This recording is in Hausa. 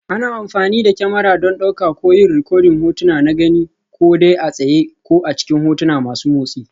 Ana amfani da kyamara don ɗauka ko yin rikodin hotuna na gani, ko dai a tsaye ko a cikin hotuna masu motsi.